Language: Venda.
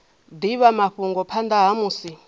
divha mafhungo phanda ha musi